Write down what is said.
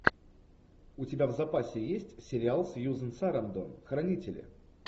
у тебя в запасе есть сериал сьюзен сарандон хранители